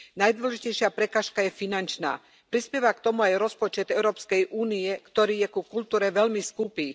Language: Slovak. Najdôležitejšia prekážka je finančná. Prispieva k tomu aj rozpočet Európskej únie, ktorý je ku kultúre veľmi skúpy.